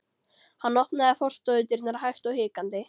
Hann opnaði forstofudyrnar hægt og hikandi.